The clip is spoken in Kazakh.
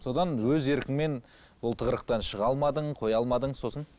содан өз еркіңмен бұл тығырықтан шыға алмадың қоя алмадың сосын